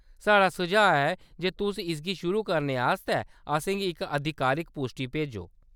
साढ़ा सुझाऽ ऐ जे तुस इसगी शुरू करने आस्तै असेंगी इक आधिकारिक पुश्टी भेजो।